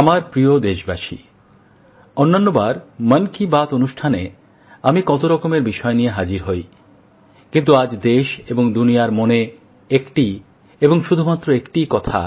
আমার প্রিয় দেশবাসী অন্যান্যবার মন কি বাতএ আমি কত রকমের বিষয় নিয়ে হাজির হই কিন্তু আজ দেশ এবং দুনিয়ার মনে একটিই এবং শুধু মাত্র একটিই কথা